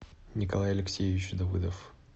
николай алексеевич давыдов